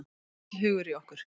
Mikill hugur í okkur